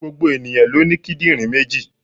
Gbogbo ènìyàn ló ní kídìnrín méjì